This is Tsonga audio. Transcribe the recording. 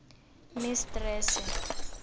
mistrese